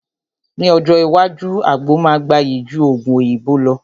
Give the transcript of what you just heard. Ní ọjọ́ iwájú, àgbo máa gbayì ju Ògùn òyìnbó lọ